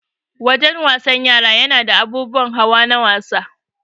Wajen wasan yara nada abubuwan hawa na wasa